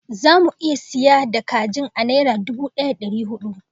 Zamu siya da kajin a naira dubu daya da dari hudu